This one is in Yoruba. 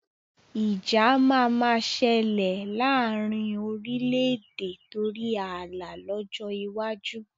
Ìjà máa ma ṣẹlẹ̀ laarin orílédé torí ààlà lọ́jọ́ iwájú